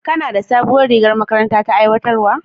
Kana da sabon rigar da makarantar ta aiwatar?